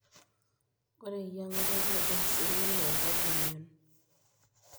Ore eyieng'ata keidim siininye airagie emion.